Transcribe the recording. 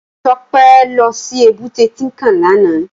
Tope lò si ébùté Tinkán làná